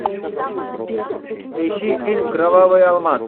поищи фильм кровавый алмаз